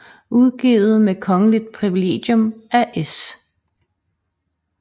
Udgivet med Kongeligt privilegium af S